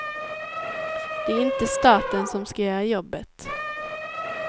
Det är inte staten som ska göra jobbet.